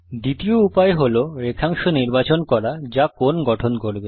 দ্বিতীয় উপায় হল রেখাংশ নির্বাচন করা যা কোণ গঠন করবে